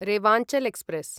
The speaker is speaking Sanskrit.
रेवांचल् एक्स्प्रेस्